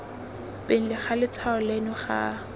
pele ga letshwao leno ga